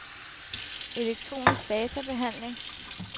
elektronisk databehandling